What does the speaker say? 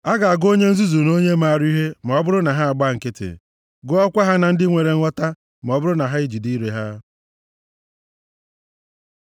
A ga-agụ onye nzuzu nʼonye maara ihe ma ọ bụrụ na ha gba nkịtị, gụọkwa ha na ndị nwere nghọta ma ọ bụrụ na ha e jide ire ha.